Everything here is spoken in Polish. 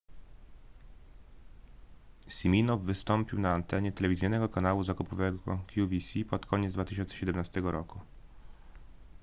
siminoff wystąpił na antenie telewizyjnego kanału zakupowego qvc pod koniec 2017 roku